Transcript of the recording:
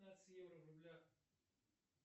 пятнадцать евро в рублях